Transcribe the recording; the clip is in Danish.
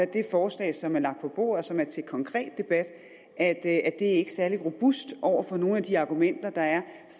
det forslag som er lagt på bordet og som er til konkret debat er ikke særlig robust over for nogle af de argumenter der er